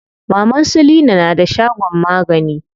Maman su leena na da shagon magani.